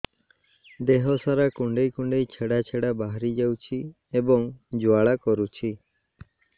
ଦେହ ସାରା କୁଣ୍ଡେଇ କୁଣ୍ଡେଇ ଛେଡ଼ା ଛେଡ଼ା ବାହାରି ଯାଉଛି ଏବଂ ଜ୍ୱାଳା କରୁଛି